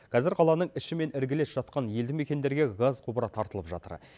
қазір қаланың іші мен іргелес жатқан елді мекендерге газ құбыры тартылып жатыр